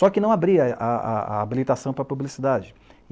Só que não abria a a a habilitação para a publicidade.